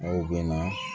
Aw bɛ na